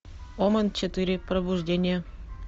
омен четыре пробуждение